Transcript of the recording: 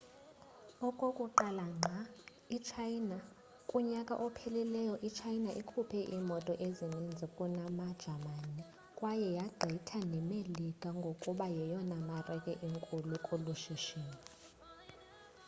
okokuqala ngqa kunyaka ophelileyo i-china ikhuphe iimoto ezininzi kunasejamani kwaye yagqitha nemelika ngokuba yeyona marike inkulu kolu shishino